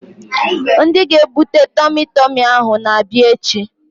Ndị ga-ebute tọmi tọmi ahụ ga-abịa echi